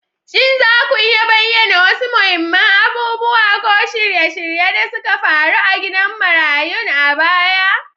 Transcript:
Shin za ku iya bayyana wasu muhimman abubuwa ko shirye-shirye da suka faru a gidan marayun a baya?